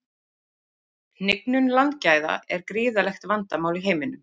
Hnignun landgæða er gríðarlegt vandamál í heiminum.